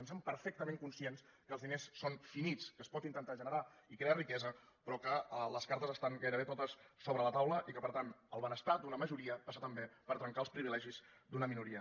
en som perfectament conscients que els diners són finits que es pot intentar generar i crear riquesa però que les cartes estan gairebé totes sobre la taula i que per tant el benes tar d’una majoria passa també per trencar els privilegis d’una minoria